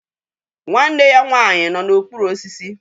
Nwanne ya nwanyị nọ n'okpuru osisi